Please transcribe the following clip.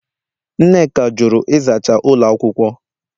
Nneka jụrụ ịzacha ụlọ akwụkwọ